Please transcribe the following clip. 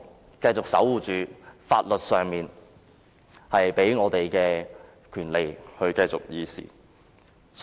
我們應守護法律賦予我們的權利，繼續議事。